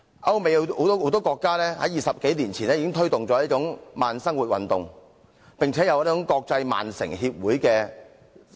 歐美有很多國家在20多年前已推動這種慢生活運動，並且設立了國際慢城組織。